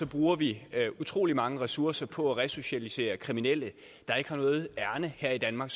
bruger vi utrolig mange ressourcer på at resocialisere kriminelle der ikke har noget ærinde her i danmark